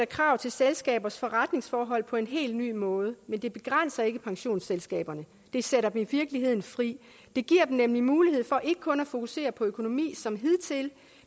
krav til selskabers forretningsforhold på en helt ny måde men det begrænser ikke pensionsselskaberne det sætter dem i virkeligheden fri det giver dem nemlig mulighed for ikke kun at fokusere på økonomi som hidtil